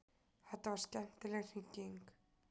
Þetta var skemmtileg hringing.